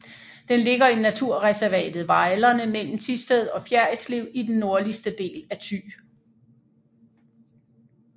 Den ligger i naturreservatet Vejlerne mellem Thisted og Fjerritslev i den nordligste del af Thy